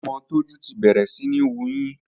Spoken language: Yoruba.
Ọmọ Tójú ti bẹ̀rẹ̀ síní wuyín